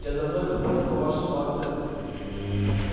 я давно это понял по вашему акценту